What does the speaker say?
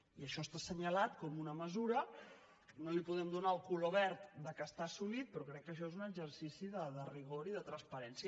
i això està assenyalat com una mesura no li podem donar el color verd que està assolit però crec que això és un exercici de rigor i de transparència